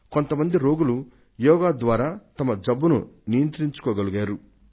కొంత మంది రోగులు యోగా ద్వారా వారి జబ్బును నియంత్రించుకో గలిగారు